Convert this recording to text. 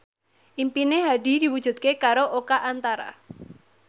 impine Hadi diwujudke karo Oka Antara